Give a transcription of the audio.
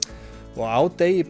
og á degi